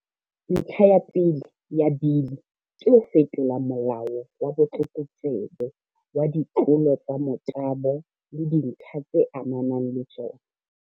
Ntlha ya pele ya Bili ke ho fetola Molao wa Botlokotsebe wa Ditlolo tsa Motabo le Dintlha tse Amanang le Tsona.